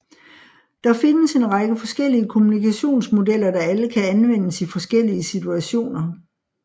Der findes en række forskellige kommunikationsmodeller der alle kan anvendes i forskellige situationer